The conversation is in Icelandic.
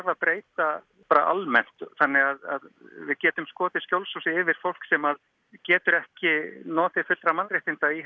að breyta almennt þannig að við getum skotið skjólshúsi yfir fólk sem getur ekki notið fullra mannréttinda í